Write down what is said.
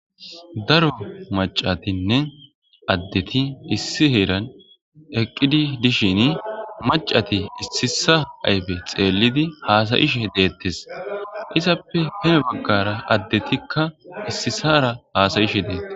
Daro macatinne addeti issi heeran eqqidi dishin macati issisa ayife xeellidi haasayishe deettes. Izappe duge baggara addetikka issisara haasayishe deettes.